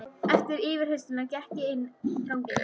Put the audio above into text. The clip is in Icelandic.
Eftir yfirheyrsluna gekk ég inn ganginn.